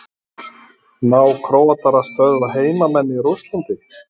Ná Króatar að stöðva heimamenn í Rússlandi?